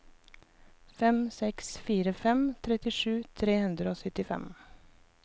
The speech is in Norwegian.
fem seks fire fem trettisju tre hundre og syttifem